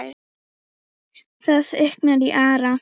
Það þykknar í Ara